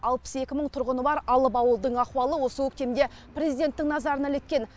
алпыс екі мың тұрғыны бар алып ауылдың ахуалы осы көктемде президенттің назарына іліккен